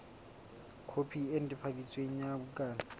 khopi e netefaditsweng ya bukana